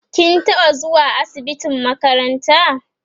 kin taɓa zuwa asibitin makaranta?